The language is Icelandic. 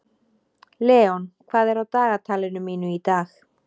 Leon, hvað er á dagatalinu mínu í dag?